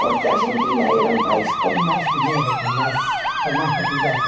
Porque a Argentina era um país com mais dinheiro, com mais, com mais possibilidades.